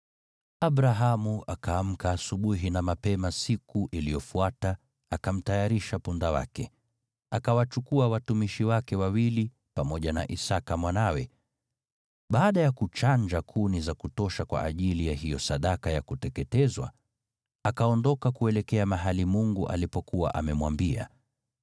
Abrahamu akaamka asubuhi na mapema siku iliyofuata, akamtayarisha punda wake. Akawachukua watumishi wake wawili pamoja na Isaki mwanawe. Baada ya kuchanja kuni za kutosha kwa ajili ya hiyo sadaka ya kuteketezwa, akaondoka kuelekea mahali Mungu alipokuwa amemwambia.